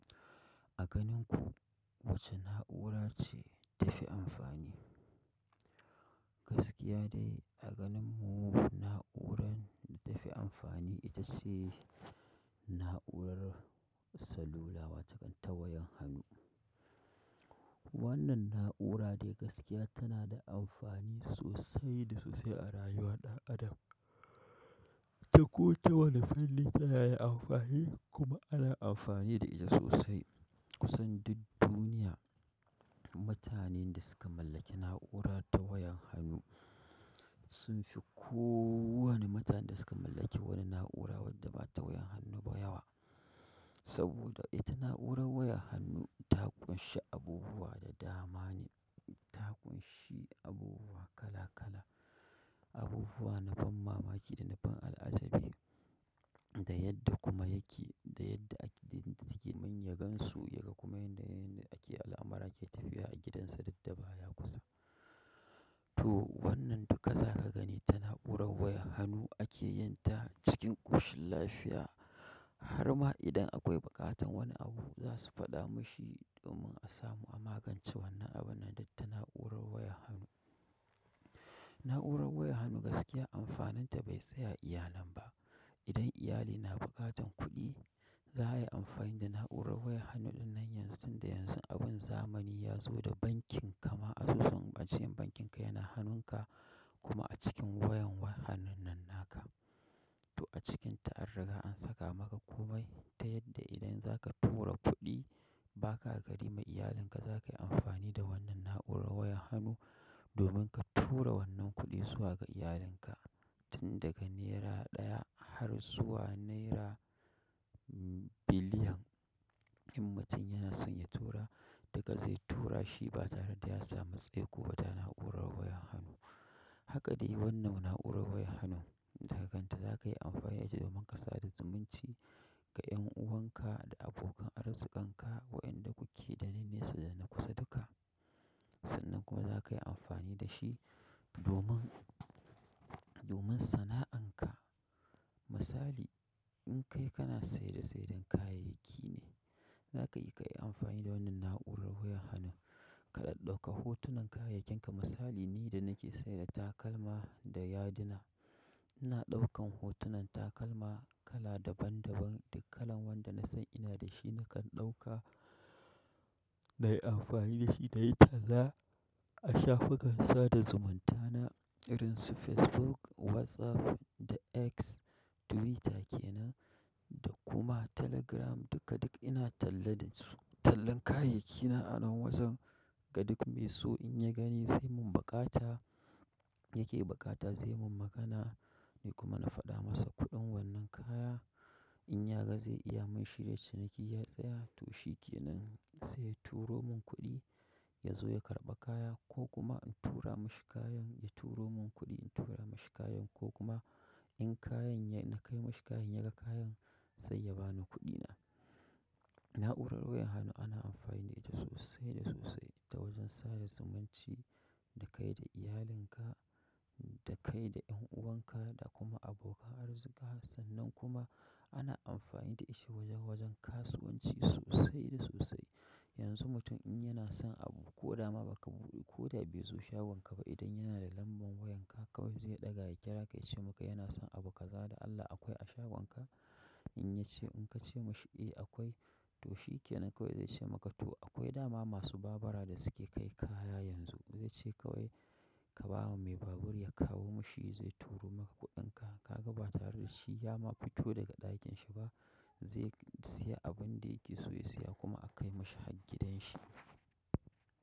A ganin ku wace na'ura ce tafi amfani? Gaskiya dai a ganin mu na'urar da tafi amfani ita ce na'urar salula wataƙan ta wayan hannu. Wannan na'ura dai gaskiya ta na da amfani sosai da sosai a rayuwar ɗan adam, ta ko ta wani fanni ta na da amfani kuma ana amfani da ita sosai kusan duk duniya mutanen da suka mallaki na'ura ta wayan hannu sun fi ko wane mutanen da suka mallaki wani na'ura wadda ba ta wayan hannu ba yawa. Saboda ita na'urar wayan hannu ta ƙunshi abubuwa da dama ne, ta ƙunshi abubuwa kala kala, abubuwa na ban mamaki da na ban al'ajabi. Da yadda kuma yake, da yadda ake tunzige manyan gansu yake kuma yanayin da ake al'amara ke tafiya a gidansa duk da ba ya kusa. To wannan duka za ka gani ta na'urar wayan hannu ake yin ta cikin ƙoshin lafiya. Har ma idan akwai buƙatar wani abu za su faɗa mashi domin a samu a magance wannan abun nan duk ta na'urar wayan hannu. Na'urar wayan hannu gaskiya amfaninta bai tsaya a iya nan ba. Idan iyali na buƙatar kuɗi, za a yi amfani da na'urar wayan hannu ɗinnan yanzu tun da yanzu abun zamani ya zo da bankin ka ma, asusun bankinka yana hannunka kuma a cikin wayan wayan hannun nan naka. To a cikinta an riga an saka maka komai ta yadda idan za ka tura kuɗi ba ka gari ma iyalinka za ka yi amfani da wannan na'urar wayan hannu domin ka tura wannan kuɗi zuwa ga iyalinka. Tun daga naira ɗaya har zuwa naira biliyan in mutum yana son ya tura, duka zai tura shi ba tare da ya samu tseko ta na'urar wayan hannu. Hakka dai wannan na'urar wayan hannun takan ta, za ka yi amfani da ita domin ka sada zumunci ga 'yan uwan ka da abokan arzikanka waƴanda kuke da na nesa da na kusa duka. Sannan kuma za ka yi amfani da shi domin, domin sana'an ka. Misali in kai kana saye da sayar da kayayyaki ne, zaka iya kai amfani da wannan na'urar wayan hannu. Ka ɗaɗɗauka hotunan kayayyenka misali ni da nake sayar da takalma da yaduna. Ina ɗaukan hotunan takalma kala daban daban duk kalan wanda na san ina da shi nakan ɗauka na yi amfani da shi na yi talla a shafukan sada zumunta na irin su Facebook, WhatsApp da X Twitter ke nan da kuma Telegram duka duk ina talla da su. Tallan kayayyakina a nan wajen ga duk me so in ya gani zai mun buƙata ya ke buƙata zai mun magana ni kuma na faɗa masa kuɗin wannan kaya. In ya ga zai iya mun shirya ciniki ya tsaya to shi ke nan sai ya turo mun kuɗi ya zo ya karɓa kaya ko kuma in tura mashi kayan ya turo mun kuɗi in tura mashi kayan ko kuma in na kai mashi kayan ya ga kayan sai ya bani kuɗina. Na'urar wayan hannu ana amfani da ita sosai da sosai ta wajen sada zumunci da kai da iyalin ka da kai da 'yan uwan ka da kuma abokan arzika. Sannan kuma ana amfani da shi wajen wajen kasuwanci sosai da sosai. Yanzu mutum in yana son abu ko dama ba ka buɗe ko da bai zo shagon ka ba idan yana da lambar wayan ka kawai zai ɗaga ya ƙira ka ya ce maka yana son abu kaza da Allah akwai a shagon ka? In ka ce masa e, akwai to shikenan, zai ce maka akwai da ma masu babura da su ke kai kaya yanzu zai ce kawai ka ba mu mai babur ya kawo mu shi zai turo maka kuɗinka ka ga ba tare da shi ya ma ku fito daga ɗakin shi ba zai siya abin da yake so ya siya kuma a kai mashi har gidan shi.